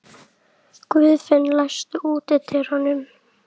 Guðvin, læstu útidyrunum.